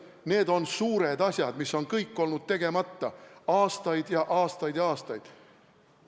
Need on suured asjad, mis on kõik olnud tegemata aastaid, aastaid ja aastaid.